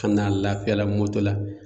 Ka na lafiyala moto la